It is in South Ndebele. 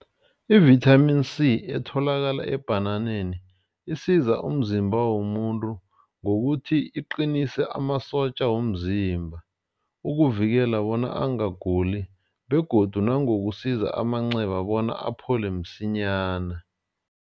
Ivithamini C etholakala ebhananeni isiza umzimba womuntu ngokuthi iqinise amasotja womzimba. Ukuvikela bona angaguli begodu nangokusiza amanceba bona aphole msinyana.